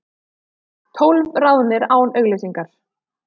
Tólf ráðnir án auglýsingar